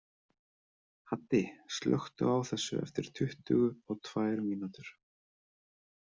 Haddi, slökktu á þessu eftir tuttugu og tvær mínútur.